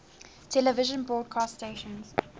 television broadcast stations